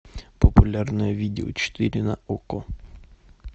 популярное видео четыре на окко